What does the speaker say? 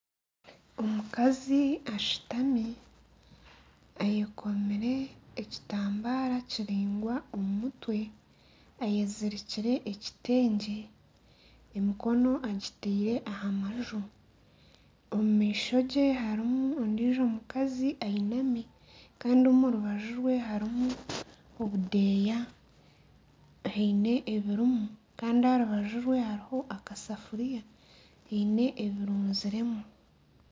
Omukazi ashutami ayekomire ekitambare kiraingwa omu mutwe ayezirikire ekitengye emikono agitaire aha manju omu maisho gye harimu ondiijo mukazi ainami kandi omu rubaju rwe harimu obudeeya haine ebirimu kandi aha rubaju rwe hariho akasafuuriya haine ebiruziremu.